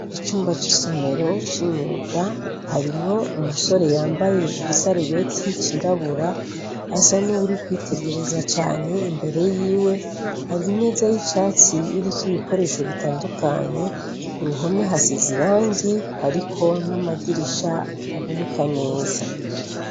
Icumba c'isomero c'imyuga harimwo umusore yambaye igisarubeti cirabura asa ni uwuri kwitegereza cane imbere yiwe hari imeza y'icatsi iriko ibikoresho bitandukanye ku ruhome hasize irangi hariko n'amadirisha ataboneka neza.